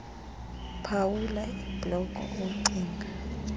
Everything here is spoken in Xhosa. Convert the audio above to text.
phawula ibhloko ocinga